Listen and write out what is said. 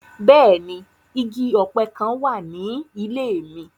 Bẹ́ẹ̀ni, igi ope kan wa ni ile mi.